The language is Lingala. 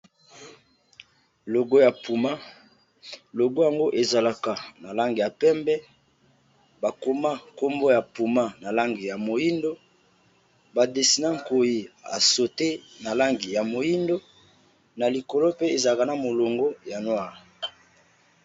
Logo ya pouma, logo yango ezalaka na langi ya pembe, ba koma kombo ya pouma na langi ya moyindo, ba dessiner nkoyi a sauter langi ya moyindo na likolo pe ezalaka na molongo ya noire.